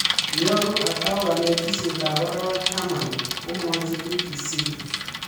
Yeruo atau kanetisiet ap arawek taman ..komwachi BBC